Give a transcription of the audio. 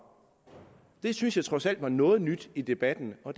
det synes jeg trods alt var noget nyt i debatten og